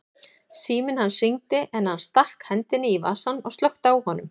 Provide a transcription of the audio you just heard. Síminn hans hringdi en hann stakk hendinni í vasann og slökkti á honum.